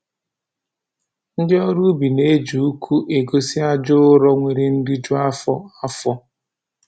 Ndị ọrụ ubi na-eji uku egosi aja ụrọ nwere nriju afọ afọ